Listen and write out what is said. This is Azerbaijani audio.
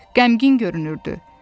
Qəmgin görünürdü.